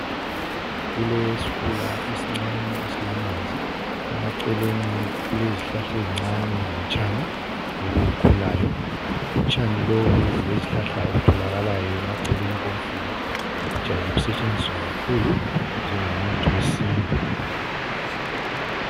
Kulesifula esincane esilamanzi. Emaceleni kulezihlahla ezincane lotshani obukhulayo. Utshani lobu lezihlahla okutholakalayo emaceleni komfula kujayele kusetshenziswa kakhulu njengomuthi wesintu.